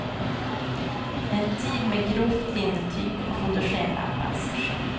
En tid med grovt linnetyg och fotogenlampans sken.